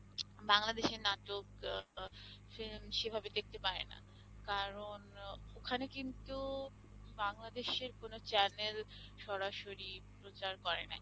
বাংলাদেশের নাটক আহ সেরম সেভাবে দেখতে পায় না কারণ ও~ ওখানে কিন্তু বাংলাদেশের কোন channel সরাসরি প্রচার করে না।